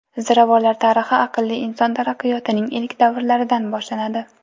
Ziravorlar tarixi aqlli inson taraqqiyotining ilk davrlaridan boshlanadi.